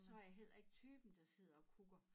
Så er jeg heller ikke typen der sidder og kukker